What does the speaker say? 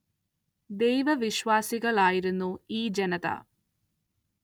ദൈവ വിശ്വാസികള്‍ ആയിരുന്നു ഈ ജനത